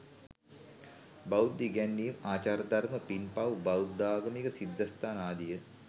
බෞද්ධ ඉගැන්වීම්, ආචාරධර්ම, පින්පව්, බෞද්ධාගමික සිද්ධස්ථාන ආදිය